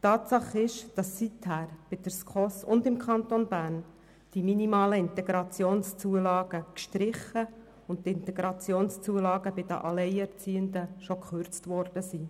Tatsache ist, dass seither sowohl bei der SKOS als auch im Kanton Bern die minimalen IZU gestrichen und die IZU bei den Alleinerziehenden bereits gekürzt worden sind.